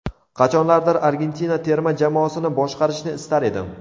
Qachonlardir Argentina terma jamoasini boshqarishni istar edim.